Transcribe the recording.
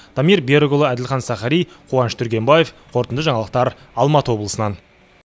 дамир берікұлы әділхан сахари қуаныш түргенбаев қорытынды жаңалықтар алматы облысынан